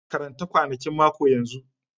Karanta kwanakin mako yanzu!